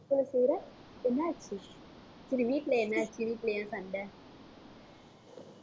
என்னாச்சு? சரி வீட்டுல என்னாச்சு வீட்டுல ஏன் சண்டை